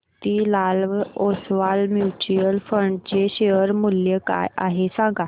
Motilal Oswal mutual fund चे share मूल्य काय आहे सांगा